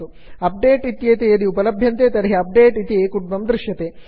update इत्येते यदि उपलभ्यन्ते तर्हि अपडेट इति कुड्मं दृश्यते